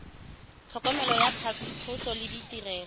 tlhokomelo ya phatlhoso le ditirelo